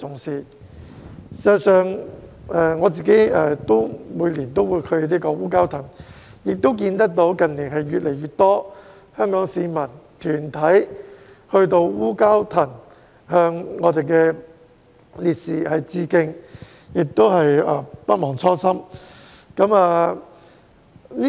事實上，我每年都會前往烏蛟騰，亦看到近年越來越多香港市民和團體到烏蛟騰向我們的烈士致敬，不忘初心。